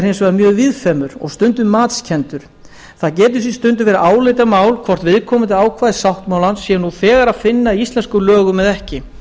hins vegar mjög víðfeðmur og stundum matskenndur það getur því stundum verið álitamál hvort viðkomandi ákvæði sáttmálans sé nú þegar að finna í íslenskum lögum eða ekki